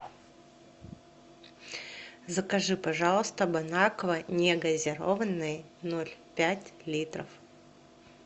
закажи пожалуйста бонаква негазированной ноль пять литров